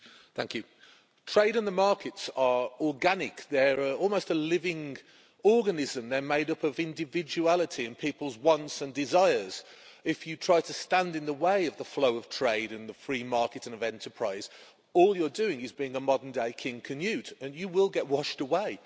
Madam President, trade and the markets are organic, they are almost a living organism, they're made up of individuality and people's wants and desires. If you try to stand in the way of the flow of trade in the free market and of enterprise, all you're doing is being a modern-day King Canute and you will get washed away.